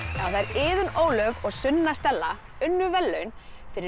Iðunn Ólöf og Sunna Stella unnu verðlaun fyrir